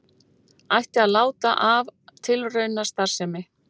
Ætti að láta af tilraunastarfsemi